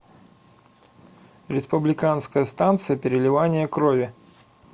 республиканская станция переливания крови